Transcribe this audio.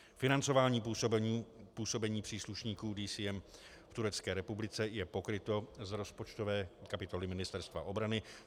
Financování působení příslušníků DCM v Turecké republice je pokryto z rozpočtové kapitoly Ministerstva obrany.